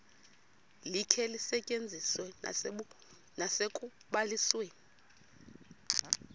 likhe lisetyenziswe nasekubalisweni